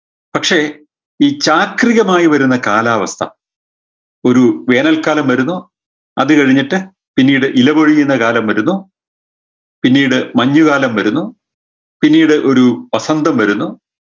പക്ഷേ ഈ ചാക്രികമായ് വരുന്ന കാലാവസ്ഥ ഒരു വേനൽക്കാലം വരുന്നു അത് കഴിഞ്ഞിട്ട് പിന്നീട് ഇല പൊഴിയുന്ന കാലം വരുന്നു പിന്നീട് മഞ്ഞുകാലം വരുന്നു പിന്നീട് ഒരു വസന്തം വരുന്നു